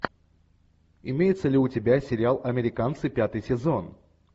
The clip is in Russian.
имеется ли у тебя сериал американцы пятый сезон